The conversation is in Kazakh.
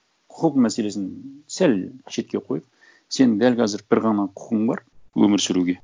құқық мәселесін сәл шетке қойып сен дәл қазір бір ғана құқың бар өмір сүруге